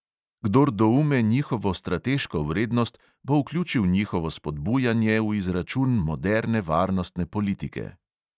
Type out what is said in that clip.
Kdor doume njihovo strateško vrednost, bo vključil njihovo spodbujanje v izračun moderne varnostne politike.